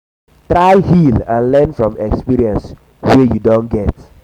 try heal and learn from experience wey you don get